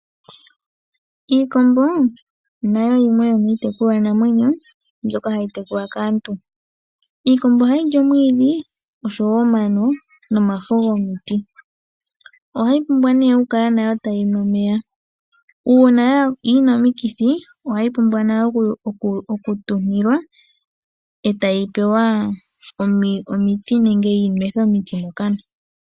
Iikombo nayo yimwe yomiitekulwanamwenyo mbyoka hayi tekulwa kaantu. Iikombo ohayi li omwiidhi osho woo omano nomafo gomiti. Ohayi pumbwa wo nayo oku kala tayi nu omeya. Uuna yi na omikithi ohayi pumbwa okutuntilwa eta yi pewa nenge yi nwethwe omiti mokana.